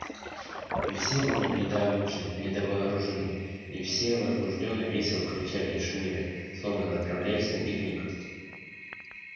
и все были недообучены недовооружены и все возбуждённо весело кричали и шумели словно направляясь на пикник